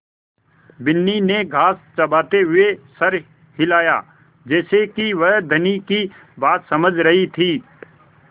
बिन्नी ने घास चबाते हुए सर हिलाया जैसे कि वह धनी की बात समझ रही थी